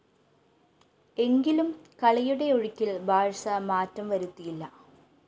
എങ്കിലും കളിയുടെ ഒഴുക്കില്‍ ബാഴ്‌സ മാറ്റംവരുത്തിയില്ല